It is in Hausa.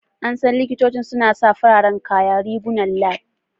An san likitocin suna sa fararen kaya / rigunan lab.